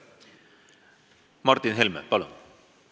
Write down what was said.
Martin Helme, palun!